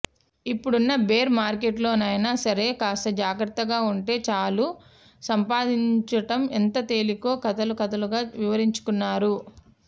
ఇప్పుడున్న బేర్ మార్కెట్లో నైనా సరే కాస్త జాగ్రత్తగా ఉంటే చాలు సంపాయించటం ఎంత తేలికో కథలు కథలుగా వివరించుకున్నారు